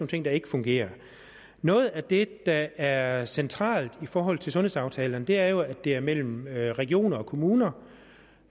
ting der ikke fungerer noget af det der er centralt i forhold til sundhedsaftalerne er jo at det er mellem regioner og kommuner